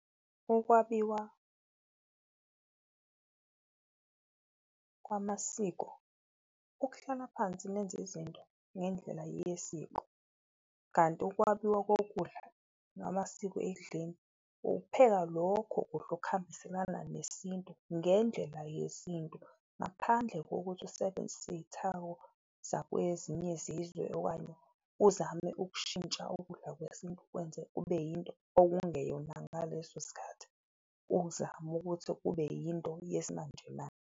Ukwabiwa kwamasiko ukuhlala phansi nenze izinto ngendlela yesiko, kanti ukwabiwa kokudla namasiko ekudleni, ukupheka lokho kudla okuhambiselana nesintu ngendlela yesintu. Ngaphandle kokuthi usebenzise iyithako zakwezinye zizwe okanye uzame ukushintsha ukudla kwesintu ukwenze kube yinto okungeyona ngaleso sikhathi, uzama ukuthi kube yinto yesimanjemanje.